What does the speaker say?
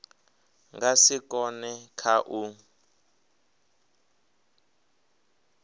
nga si kone kha u